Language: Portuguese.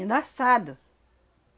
Ainda assado.